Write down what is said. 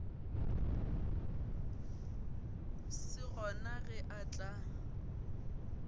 se gona ge a tla